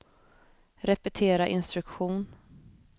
repetera instruktion